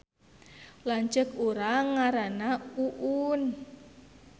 Lanceuk urang ngaranna Uun